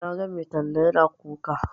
Na ga mai talla yana kuka.